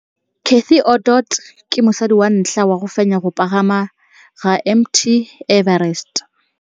Cathy Odowd ke mosadi wa ntlha wa go fenya go pagama ga Mt Everest.